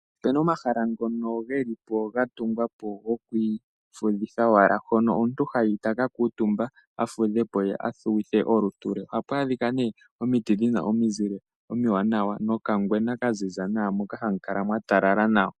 Opuna omahala ngono geli po gatungwa po gokwiifudhithapo owala mpono omuntu hayi taka kuutumba nenge olutu lwe. Ohapu adhika omiti dhina omizile omiwanawa nokangwena kaziza nawa moka hamu kala mwatalala nawa.